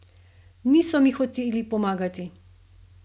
Niso mi hoteli pomagati!